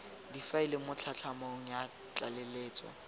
difaele mo tlhatlhamanong ya tlaleletso